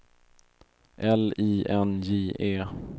L I N J E